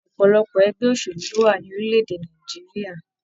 Ọpọlọpọ ẹgbẹ òṣèlú lo wà lorílẹ̀-èdè Nàìjíríà.